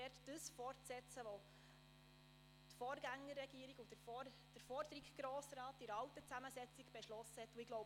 Ich setze das fort, was die Vorgängerregierung und der Grosse Rat in der alten Zusammensetzung beschlossen haben.